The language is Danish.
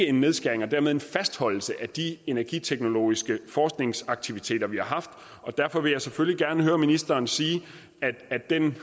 en nedskæring og dermed en fastholdelse af de energiteknologiske forskningsaktiviteter vi har haft derfor vil jeg selvfølgelig gerne høre ministeren sige at den